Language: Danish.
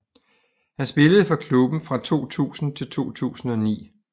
Han spillede for klubben fra 2000 til 2009